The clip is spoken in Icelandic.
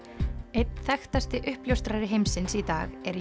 einn þekktasti uppljóstrari heimsins í dag er